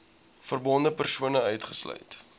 verbonde persone uitgesluit